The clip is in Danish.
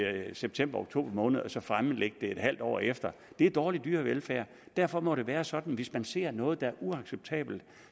september og oktober måned og så fremlægge det et halvt år efter det er dårlig dyrevelfærd derfor må det være sådan at hvis man ser noget der er uacceptabelt